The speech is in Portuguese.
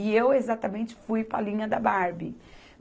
E eu exatamente fui para a linha da Barbie.